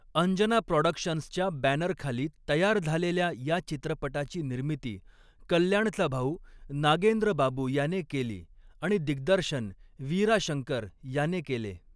अंजना प्रॉडक्शन्स'च्या बॅनरखाली तयार झालेल्या या चित्रपटाची निर्मिती कल्याणचा भाऊ नागेंद्र बाबू याने केली आणि दिग्दर्शन वीरा शंकर याने केले.